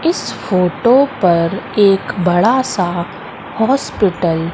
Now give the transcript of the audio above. इस फोटो पर एक बड़ासा हॉस्पिटल --